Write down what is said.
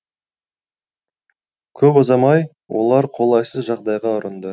көп ұзамай олар қолайсыз жағдайға ұрынды